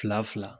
Fila fila